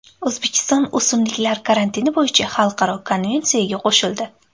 O‘zbekiston o‘simliklar karantini bo‘yicha xalqaro konvensiyaga qo‘shildi.